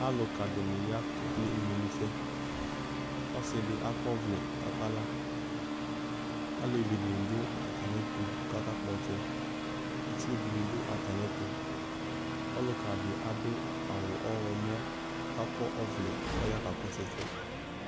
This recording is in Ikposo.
Alʋkadɩnɩ ya kekele imenusɛ Ɔsɩdɩ akɔvlɛ k'ɔkala, alevidɩnɩ dʋ atamɩɛtʋ k'akakpɔtsɛ Itsudɩnɩ dʋ atamɩɛtʋ , ɔlʋkadɩ adʋ awʋ ɔɣlɔmɔ k'akɔ ɔvlɛ k'ɔya kakɔsʋ ɛsɛ